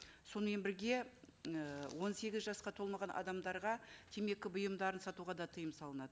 сонымен бірге і он сегіз жасқа толмаған адамдарға темекі бұйымдарын сатуға да тыйым салынады